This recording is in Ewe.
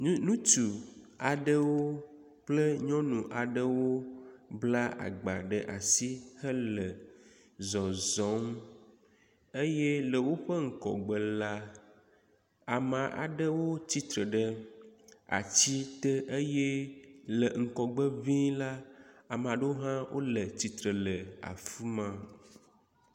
nyunutu aɖewo kple nyɔnu aɖewo bla agba ɖe asi hele zɔzɔm eye le wóƒe ŋgɔgbe la ame aɖewo tsitsre ɖe atsi te eye le ŋgɔgbe ʋĩi la amaɖewo hã wóle tsitsre le afima